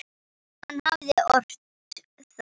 Hann hafði ort það.